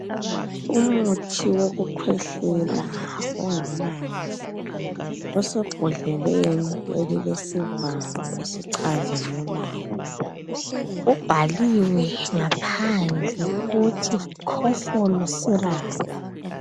Umuthi wokukhwehlela ongamanzi osebhodleleni elilesivalo esicazimulayo. Kubhaliwe ngaphandle ukuthi "Kofol syrup".